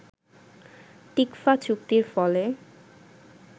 TICFA চুক্তির ফলে